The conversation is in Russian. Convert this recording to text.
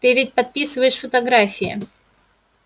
ты ведь подписываешь фотографии